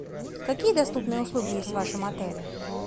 какие доступные услуги есть в вашем отеле